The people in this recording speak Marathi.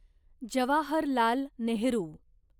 जवाहरलाल नेहरू